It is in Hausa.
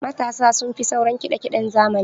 Matasa sun fi sauraran kiɗa kiɗen zamani.